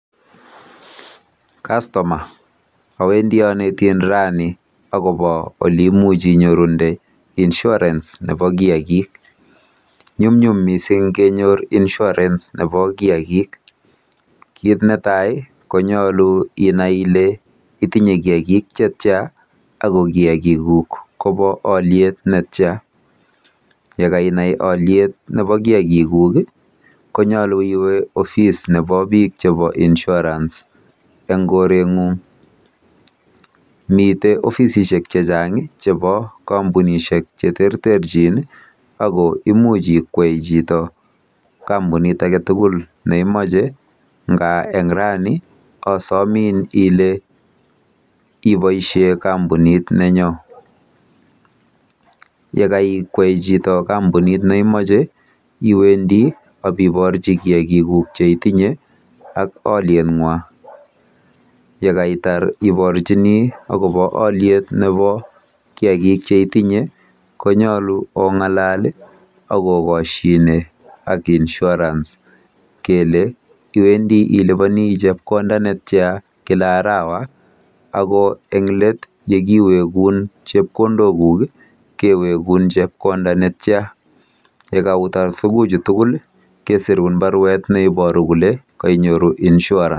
Kastoma. Awendi anetin rani akobo oleimuch inyorunde insurance nebo kiagik. Nyumnyum mising kenyor Insurance nebo kiagik. Kit netai konyolu inai ile itinye kiagik chetyaa ako kiagiguk kobo olyet netyaa. Yekainai oliet nebo kiagiguk konyolu iwe ofis nebo bik chebo insurance eng koretng'ung.